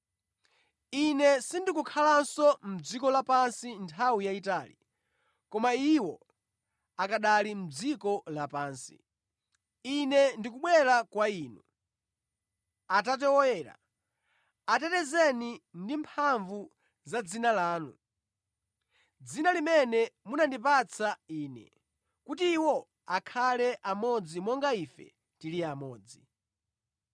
Ine sindikukhalanso mʼdziko lapansi nthawi yayitali, koma iwo akanali mʼdziko lapansi. Ine ndikubwera kwa Inu. Atate Woyera, atetezeni ndi mphamvu za dzina lanu. Dzina limene munandipatsa Ine, kuti iwo akhale amodzi monga Ife tili amodzi.